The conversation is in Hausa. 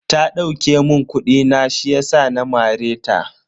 Ta dauke mun kudi na ne shiyasa na mare ta.